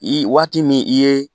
I waati min i ye.